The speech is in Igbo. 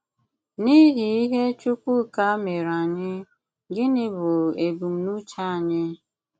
N’ìhì̀ ìhè Chùkwùká mèré ànyị, gínị bụ́ ebùmnùchè ànyị?